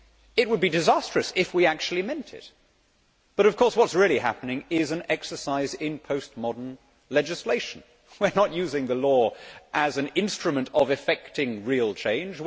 It would be disastrous if we actually meant it, but of course what is really happening is an exercise in post modern legislation we are not using the law as an instrument of effecting real change